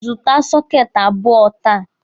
Zụta sọketi abụọ taa!